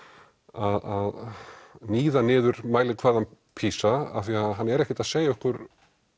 að níða niður mælikvarðann PISA af því hann er ekkert að segja okkur